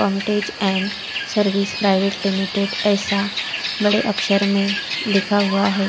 पम्तेज and service private limited एसा बड़े अक्षर में लिखा हुआ है।